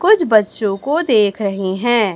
कुछ बच्चों को देख रही हैं।